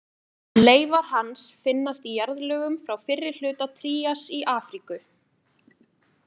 Leifar hans finnast í jarðlögum frá fyrri hluta trías í Afríku.